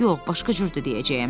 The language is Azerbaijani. yox, başqa cür də deyəcəyəm.